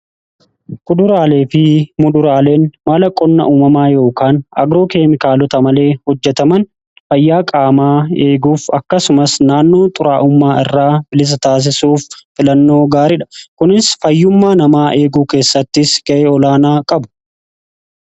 kuduraalee fi muduraaleen maala qonna uumamaa yookaan agroo keemikaalota malee hojjetaman fayyaa qaamaa eeguuf akkasumas naannoo xuraa'ummaa irraa bilisa taasisuuf filannoo gaariidha kunis fayyummaa namaa eeguu keessattis ga'ee olaanaa qabu